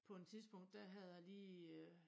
På en tidspunkt der havde jeg lige øh